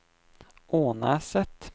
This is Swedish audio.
Ånäset